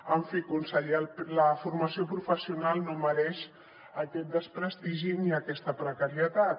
en fi conseller la formació professional no mereix aquest desprestigi ni aquesta precarietat